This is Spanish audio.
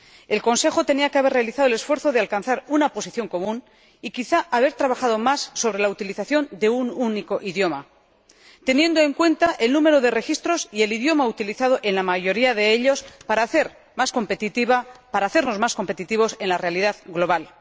El Consejo tenía que haber realizado el esfuerzo de alcanzar una posición común y quizá, haber trabajado más sobre la utilización de un único idioma, teniendo en cuenta el número de registros y el idioma utilizado en la mayoría de ellos, para hacernos más competitivos en la realidad global.